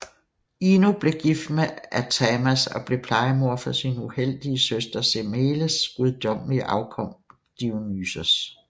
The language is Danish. Ino blev gift med Athamas og blev plejemor for sin uheldige søster Semeles gudommelige afkom Dionysos